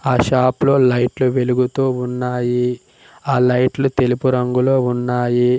ఆ షాప్ లో లైట్లు వెలుగుతూ ఉన్నాయి ఆ లైట్లు తెలుపు రంగులో ఉన్నాయి.